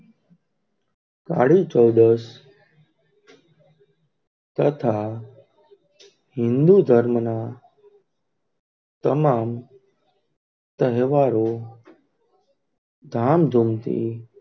કાળી ચૌદશ તથા હિન્દુ ધર્મનાં તમામ તહેવારો,